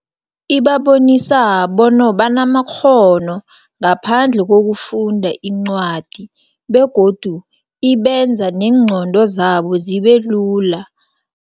Ibabonisa banamakghono, ngaphandle kokufunda incwadi, begodu ibenza neengqondo zabo zibelula.